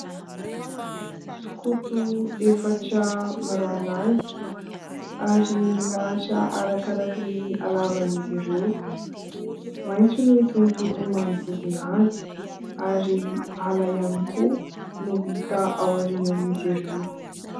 Sokoto efatra mirahalahy ary milahatra araka araka ny halavany izy ireo. Maitso ny tontolo manodidina azy ary ala ihany koa no hita ao aorianan'izy ireo.